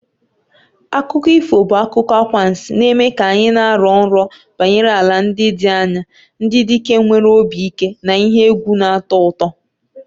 Akụkọ ifo bụ akụkọ anwansi na-eme ka anyị na-arọ nrọ banyere ala ndị dị anya, ndị dike nwere obi ike na ihe egwu na-atọ ụtọ.